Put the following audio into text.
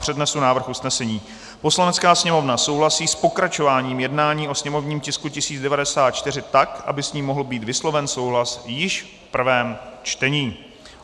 Přednesu návrh usnesení: "Poslanecká sněmovna souhlasí s pokračováním jednání o sněmovním tisku 1094 tak, aby s ním mohl být vysloven souhlas již v prvém čtení."